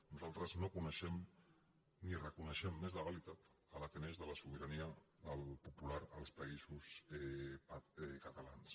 nosaltres no coneixem ni reconeixem més legalitat que la que neix de la sobirania popular als països catalans